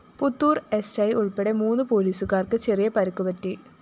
Puthur‍ SI ഉള്‍പ്പടെ മൂന്ന് പോലീസുകാര്‍ക്ക് ചെറിയ പരിക്കുപറ്റി